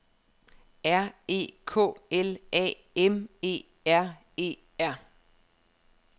R E K L A M E R E R